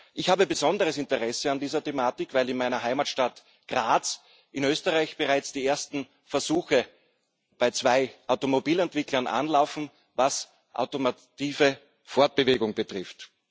Ich habe besonderes Interesse an dieser Thematik, weil in meiner Heimatstadt Graz in Österreich bereits die ersten Versuche bei zwei Automobilentwicklern anlaufen, was automative Fortbewegung betrifft.